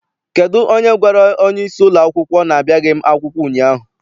Kedụ onye gwara onyeisi ụlọakwụkwọ na-abịaghị m akwụkwọ ụnyaahụ?